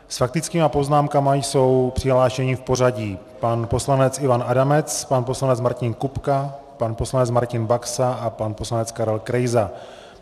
S faktickými poznámkami jsou přihlášeni v pořadí: pan poslanec Ivan Adamec, pan poslanec Martin Kupka, pan poslanec Martin Baxa a pan poslanec Karel Krejza.